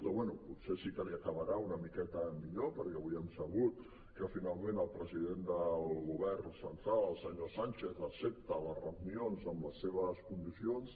o bé potser sí que li acabarà una miqueta millor perquè avui hem sabut que finalment el president del govern central el senyor sánchez accepta les reunions en les seves condicions